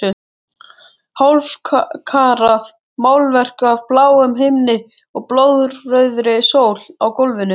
Hálfkarað málverk af bláum himni og blóðrauðri sól á gólfinu.